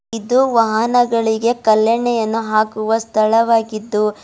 ಇದು ವಾಹನಗಳಿಗೆ ಕಲ್ಲೆಣ್ಣೆಯನ್ನು ಹಾಕುವ ಸ್ಥಳವಾಗಿದ್ದು--